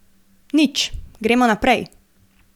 Nič, gremo naprej.